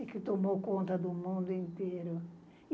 E que tomou conta do mundo inteiro.